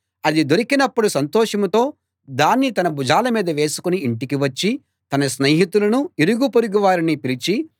అది దొరికినప్పుడు సంతోషంతో దాన్ని తన భుజాల మీద వేసుకుని ఇంటికి వచ్చి తన స్నేహితులనూ ఇరుగుపొరుగు వారినీ పిలిచి